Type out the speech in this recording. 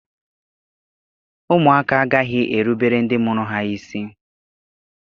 Ụmụaka agaghị erubere ndị mụrụ ha isi.